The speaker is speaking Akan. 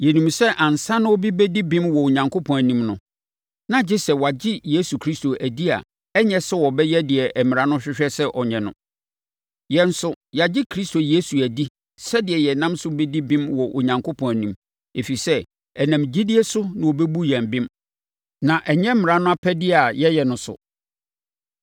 Yɛnim sɛ ansa na obi bɛdi bem wɔ Onyankopɔn anim no, na gye sɛ wagye Yesu Kristo adi a ɛnyɛ sɛ ɔbɛyɛ deɛ mmara no hwehwɛ sɛ ɔnyɛ no. Yɛn nso, yɛagye Kristo Yesu adi sɛdeɛ yɛnam so bɛdi bem wɔ Onyankopɔn anim; ɛfiri sɛ, ɛnam gyidie so na wɔbɛbu yɛn bem, na ɛnyɛ mmara no apɛdeɛ a yɛyɛ no so.